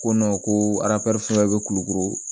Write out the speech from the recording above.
Ko ko aru fila bɛ kulukoro